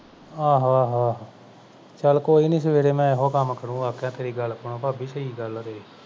ਆਹੋ ਆਹੋ ਆਹੋ ਚਲ ਕੋਈ ਨਹੀਂ ਸਵੇਰੇ ਮੈਂ ਇਹੋ ਕੰਮ ਕਰੂ ਵਾਕੇ ਤੇਰੀ ਗਲ ਖੁਣੋ ਭਾਬੀ ਸਹੀ ਗੱਲ ਆ ਤੇਰੀ